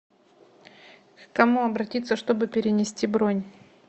к кому обратиться чтобы перенести бронь